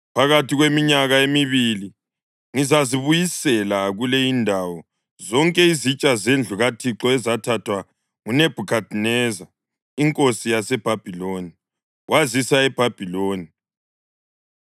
Phakathi kweminyaka emibili ngizazibuyisela kule indawo zonke izitsha zendlu kaThixo ezathathwa nguNebhukhadineza inkosi yaseBhabhiloni wazisa eBhabhiloni.